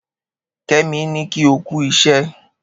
Kemi n kí ọ kù ìṣẹ̀